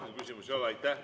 Rohkem küsimusi ei ole.